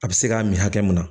A bɛ se k'a min hakɛ mun na